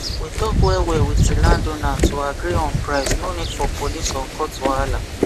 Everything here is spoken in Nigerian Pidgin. we talk well well with the land owner to agree on price no need for police or court wahala